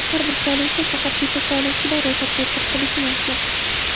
Har bir saylovchi faqat bitta saylovchilar ro‘yxatiga kiritilishi mumkin.